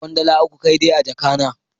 Ina da kwandala uku kai dai a jaka na.